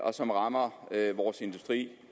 og som rammer vores industri